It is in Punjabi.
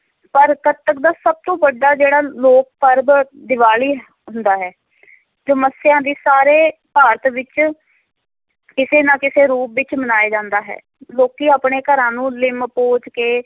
ਪਰ ਕੱਤਕ ਦਾ ਸਭ ਤੋਂ ਵੱਡਾ ਜਿਹੜਾ ਲੋਕ ਪਰਬ ਦੀਵਾਲੀ ਹੁੰਦਾ ਹੈ ਜੋ ਮੱਸਿਆ ਦੇ ਸਾਰੇ ਭਾਰਤ ਵਿੱਚ ਕਿਸੇ ਨਾ ਕਿਸੇ ਰੂਪ ਵਿੱਚ ਮਨਾਇਆ ਜਾਂਦਾ ਹੈ, ਲੋਕੀਂ ਆਪਣੇ ਘਰਾਂ ਨੂੰ ਲਿੰਬ ਪੋਚ ਕੇ